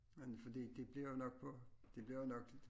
Men fordi det bliver jo nok på det bliver nok